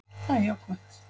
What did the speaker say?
Það er jákvætt